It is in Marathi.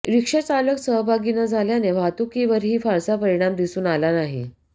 रिक्षाचालक सहभागी न झाल्याने वाहतुकीवरही फारसा परिणाम दिसून आला नाही